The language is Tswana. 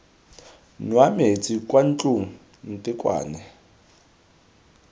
nwa metsi kwa ntlong ntekwane